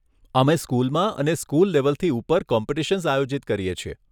અમે સ્કૂલમાં અને સ્કૂલ લેવલથી ઉપર સ્કૂલ કોમ્પિટિશન્સ આયોજિત કરીએ છીએ.